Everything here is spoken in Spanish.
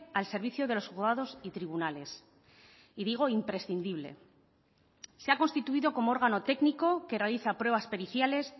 al servicio de los juzgados y tribunales y digo imprescindible se ha constituido como órgano técnico que realiza pruebas periciales